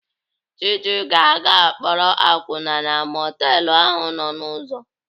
Chiji ga-aga akpọrọ akwụna na mọtelụ ahụ nọ n'ụzọ.